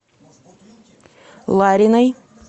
лариной